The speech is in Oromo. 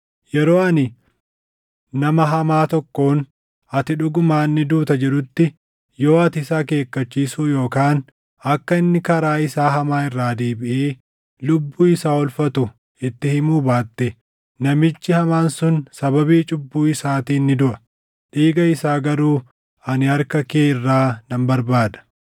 Yeroo ani nama hamaa tokkoon, ‘Ati dhugumaan ni duuta’ jedhutti, yoo ati isa akeekkachiisuu yookaan akka inni karaa isaa hamaa irraa deebiʼee lubbuu isaa oolfatu itti himuu baatte, namichi hamaan sun sababii cubbuu isaatiin ni duʼa; dhiiga isaa garuu ani harka kee irraa nan barbaada.